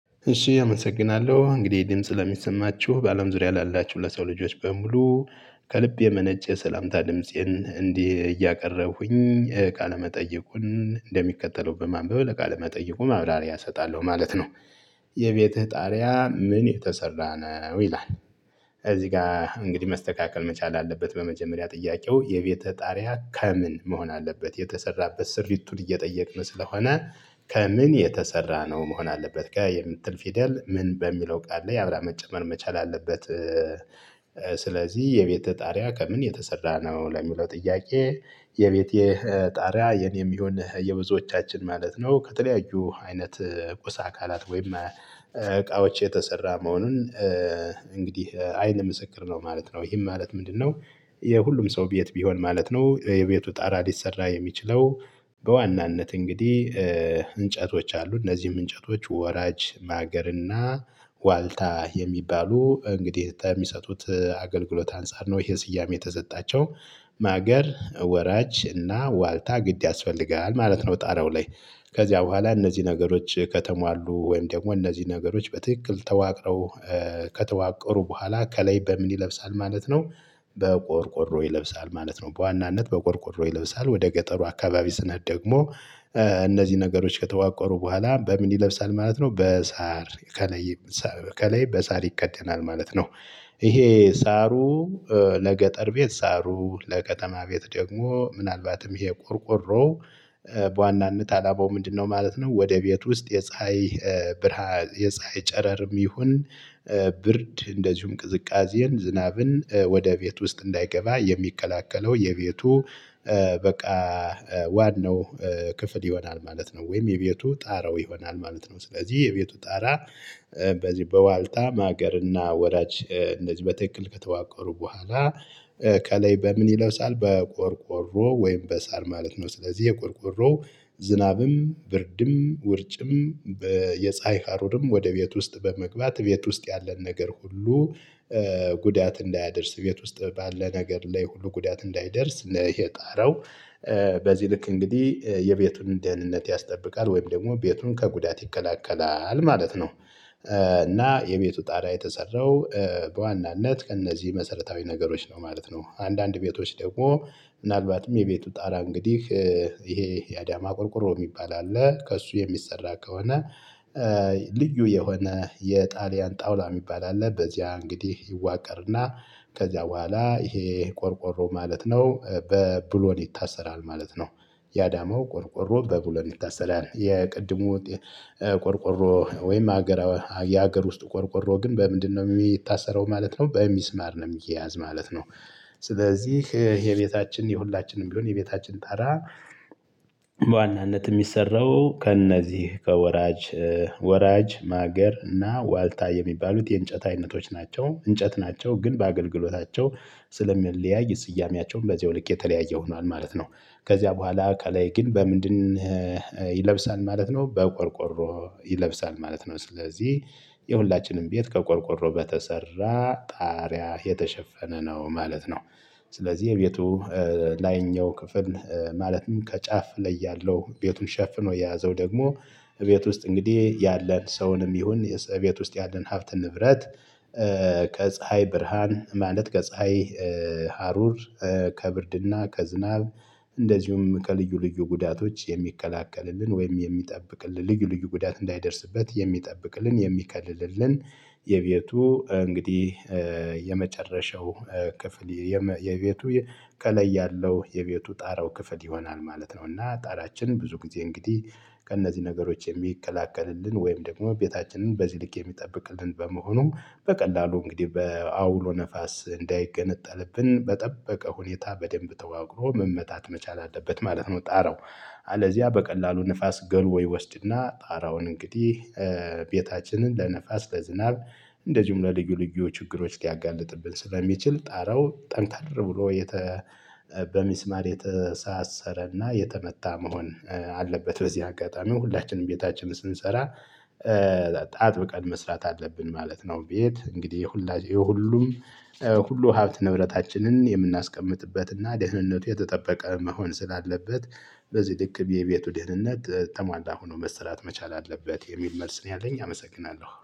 እሺ አመሰግናለሁ እንግዲህ ድምጽ ለሚሰማችሁ በአለም ዙሪያ ላላችሁ ለሰው ልጆች በሙሉ ከልብ የመነጨ ሰላምታ ድምፄን እንዲህ እያቀረብኩኝ ቃለ መጠየቁን እንደሚከተለው በማንበብ ለቃለ መጠየቁ ማብራሪያ እሰጣለሁ ማለት ነው። የቤትህ ጣሪያ ምን የተሰራ ነው ይላል? እዚህ ጋር እንግዲህ መስተካከል መቻል አለበት በመጀመሪያ ጥያቄው የቤትህ ጣሪያ ከምን መሆን አለበት የተሰራበት ስሪቱን እየጠየቅን ስለሆነ ከምን የተሰራ ነው መሆን አለበት ገ የምትል ፊደል ምን በሚለው ቃል ላይ አብራ መጨመር መቻል አለበት። ስለዚህ የቤትህ ጣሪያ ከምን የተሰራ ነው ለሚለው ጥያቄ የቤቴ ጣሪያ የኔ የሚሆን የብዙዎቻችን ማለት ነው ከተለያዩ አይነት ቁስ አካላት ወይም እቃዎች የተሰራ መሆኑን እንግዲህ አይን ምስክር ነው ማለት ነው ይህም ማለት ምንድነው? የሁሉም ሰው ቤት ቢሆን ማለት ነው የቤቱ ጣራ ሊሰራ የሚችለው። በዋናነት እንግዲህ እንጨቶች አሉ እነዚህም እንጨቶች ወራጅ ማገርና ዋልታ የሚባሉ እንግዲህ ከሚሰጡት አገልግሎት አንፃር ነው ይሄ ስያሜ የተሰጣቸው። ማገር ወራጅ እና ዋልታ ግድ ያስፈልጋል ማለት ነው ጣሪያው ላይ። ከዚያ በኋላ እነዚህ ነገሮች ከተማሉ ወይም ደግሞ እነዚህ ነገሮች በትክክል ተዋቅረው ከተዋቀሩ በኋላ ከላይ በምን ይለብሳል ማለት ነው? በቆርቆሮ ይለብሳል ማለት ነው። በዋናነት በቆርቆሮ ይለብሳል ወደ ገጠሩ አካባቢ ስንሄድ ደግሞ። እነዚህ ነገሮች ከተዋቀሩ በኋላ በምን ይለብሳል ማለት ነው በሳር ከላይ ከላይ በሳር ይከደናል ማለት ነው። ይሄ ሳሩ ለገጠር ቤት ሳሩ ለከተማ ቤት ደግሞ ምናልባትም ይሄ ቆርቆሮ በዋናነት አላማው ምንድነው? ማለት ነው። ወደ ቤት ውስጥ የፀሀይ ብርሃን የፀሀይ ጨረርም ይሁን ብርድ እንደዚሁም ቅዝቃዜን ዝናብን ወደ ቤት ውስጥ እንዳይገባ የሚከላከለው የቤቱ በቃ ዋናው ክፍል ይሆናል ማለት ነው። ወይም የቤቱ ጣራው ይሆናል ማለት ነው። ስለዚህ የቤቱ ጣራ። በዚህ በዋልታ ማገርና ወዳጅ እነዚህ በትክክል ከተዋቀሩ በኋላ ከላይ በምን ይለብሳል በቆርቆሮ ወይም በሳር ማለት ነው። ስለዚህ የቆርቆሮ ዝናብም ብርድም ውርጭም የፀሀይ ሀሩርም ወደ ቤት ውስጥ በመግባት ቤት ውስጥ ያለን ነገር ሁሉ ጉዳት እንዳያደርስ ቤት ውስጥ ባለ ነገር ላይ ሁሉ ጉዳት እንዳይደርስ ይሄ ጣራው። በዚህ ልክ እንግዲህ የቤቱን ደህንነት ያስጠብቃል ወይም ደግሞ ቤቱን ከጉዳት ይከላከላል ማለት ነው። እና የቤቱ ጣሪያ የተሰራው በዋናነት ከእነዚህ መሰረታዊ ነገሮች ነው ማለት ነው። አንዳንድ ቤቶች ደግሞ ምናልባትም የቤቱ ጣራ እንግዲህ ይሄ የአዳማ ቆርቆሮ የሚባል አለ ከእሱ የሚሰራ ከሆነ። ልዩ የሆነ የጣሊያን ጣውላ የሚባል አለ በዚያ እንግዲህ ይዋቀርና ከዚያ በኋላ ይሄ ቆርቆሮ ማለት ነው። በብሎን ይታሰራል ማለት ነው። ያዳመው ቆርቆሮ በብሎን ይታሰራል የቅድሙ ቆርቆሮ ወይም ሀገር የሀገር ውስጥ ቆርቆሮ ግን በምንድነው የሚታሰረው ማለት ነው? በሚስማር ነው የሚያዝ ማለት ነው። ስለዚህ የቤታችን የሁላችንም ቢሆን የቤታችን ጣራ። በዋናነት የሚሰራው ከእነዚህ ከወራጅ ወራጅ ማገር እና ዋልታ የሚባሉት የእንጨት አይነቶች ናቸው እንጨት ናቸው ግን በአገልግሎታቸው ስለሚለያይ ስያሜያቸውን በዚያው ልክ የተለያየ ሆኗል ማለት ነው። ከዚያ በኋላ ከላይ ግን በምንድን? ይለብሳል ማለት ነው በቆርቆሮ ይለብሳል ማለት ነው። ስለዚህ የሁላችንም ቤት ከቆርቆሮ በተሰራ ጣሪያ የተሸፈነ ነው ማለት ነው። ስለዚህ የቤቱ ላይኛው ክፍል ማለትም ከጫፍ ላይ ያለው ቤቱን ሸፍኖ የያዘው ደግሞ ቤት ውስጥ እንግዲህ ያለን ሰውንም ይሁን ቤት ውስጥ ያለን ሀብት ንብረት። ከጸሀይ ብርሃን ማለት ከጸሀይ ሀሩር ከብርድና ከዝናብ እንደዚሁም ከልዩ ልዩ ጉዳቶች የሚከላከልልን ወይም የሚጠብቅልን ልዩ ልዩ ጉዳት እንዳይደርስበት የሚጠብቅልን የሚከልልን የቤቱ እንግዲህ የመጨረሻው ክፍል የቤቱ ከላይ ያለው የቤቱ ጣሪያው ክፍል ይሆናል ማለት ነው። እና ጣሪያችንን ብዙ ጊዜ እንግዲህ ከእነዚህ ነገሮች የሚከላከልልን ወይም ደግሞ ቤታችንን በዚህ ልክ የሚጠብቅልን በመሆኑ በቀላሉ እንግዲህ በአውሎ ነፋስ እንዳይገነጠልብን በጠበቀ ሁኔታ በደንብ ተዋቅሮ መመታት መቻል አለበት ማለት ነው። ጣራው። አለዚያ በቀላሉ ንፋስ ገልዎ ይወስድና ጣራውን እንግዲህ ቤታችንን ለንፋስ ለዝናብ እንደዚሁም ደግሞ ለልዩ ልዩ ችግሮች ሊያጋልጥብን ስለሚችል ጣራው ጠንከር ብሎ በሚስማር የተሳሰረና የተመታ መሆን አለበት። በዚህ አጋጣሚ ሁላችንም ቤታችን ስንሰራ አጥብቀን መስራት አለብን ማለት ነው። ቤት እንግዲህ የሁሉም ሁሉ ሀብት ንብረታችንን የምናስቀምጥበትና ደህንነቱ የተጠበቀ መሆን ስላለበት። በዚህ ልክ የቤቱ ደህንነት ተሟላ ሆኖ መሰራት መቻል አለበት የሚል መልስ ነው ያለኝ አመሰግናለሁ